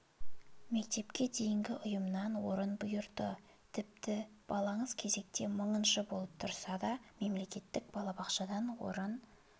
мектепке дейінгі ұйымнан орын бұйырды тіпті балаңыз кезекте мыңыншы болып тұрса да мемлекеттік балабақшадан орын